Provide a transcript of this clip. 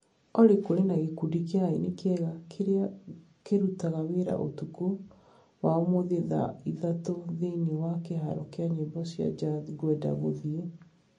Olly kũrĩ na gĩkundi kĩa aini kĩega kĩrĩa kĩraruta wĩra ũtukũ wa ũmũthĩ thaa ithatũ thĩinĩ wa kiharo kĩa nyĩmbo cia jazz ngwenda gũthiĩ